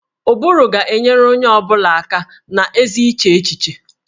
Ụbụrụ ga-enyere onye ọ bụla aka na ezi iche echiche